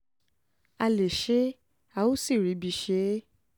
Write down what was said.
a lè ṣe é a ò sì ríbi ṣe é